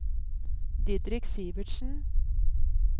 Didrik Sivertsen